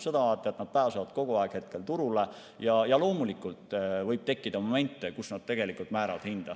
See tähendab, et nad pääsevad praegu kogu aeg turule ja loomulikult võib tekkida momente, kui nad määravad hinda.